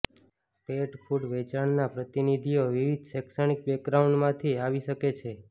પેટ food વેચાણના પ્રતિનિધિઓ વિવિધ શૈક્ષણિક બેકગ્રાઉન્ડમાંથી આવી શકે છે